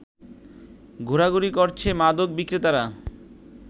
ঘোরাঘুরি করছে মাদক বিক্রেতারা